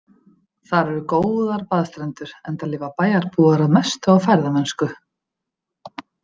Þar eru góðar baðstrendur, enda lifa bæjarbúar að mestu á ferðamennsku.